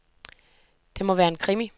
Det må være en krimi.